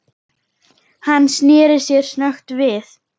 Hann sneri sér snöggt við.